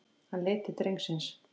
Hann leit til drengsins.